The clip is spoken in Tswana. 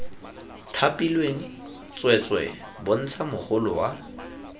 thapilweng tsweetswee bontsha mogolo wa